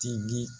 Ti bi